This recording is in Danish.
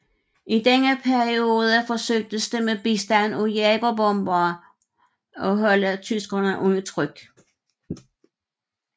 I denne periode forsøgtes det med bistand af jagerbombere at holde tyskerne under tryk